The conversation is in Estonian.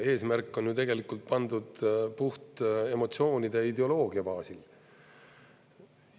Eesmärk on ju tegelikult pandud puht emotsioonide ja ideoloogia baasil.